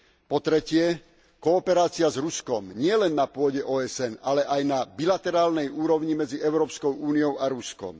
Po tretie, kooperácia s Ruskom, nielen na pôde OSN, ale aj na bilaterálnej úrovni medzi Európskou úniou a Ruskom.